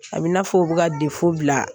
A bɛ i n'a fɔ u bɛ ka bila